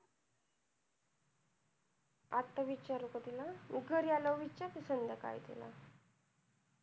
आता विचारू का तिला? घरी आल्या वर विचारते संध्याकाळी तिला